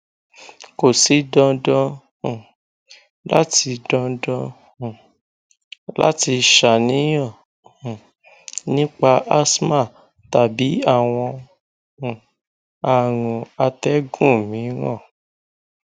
ko si dandan um lati dandan um lati ṣàníyàn um nipa asthma tabi awọn um arun atẹgun miiran